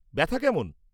ব্যথা কেমন?